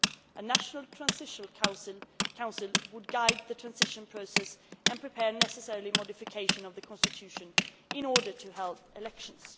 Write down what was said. A national transitional council was to guide the transition process and prepare the necessary modification of the constitution in order to help elections.